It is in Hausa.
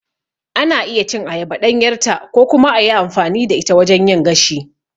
Ana iya cin ayaba ɗanyarta ko kuma a yi amfani da ita wajen yin gashi.